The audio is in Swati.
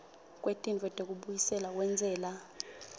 kwetintfo tekubuyiselwa kwentsela